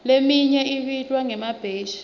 leminye ibitwa ngemabheshi